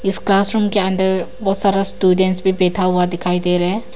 इस क्लासरूम के अंदर बहुत सारा स्टूडेंट्स भी बैठा हुआ दिखाई दे रहे हैं।